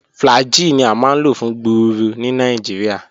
Flagyl ni a maa n lo fun gbuuru ni Nigeria.